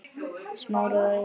Smári og Auður.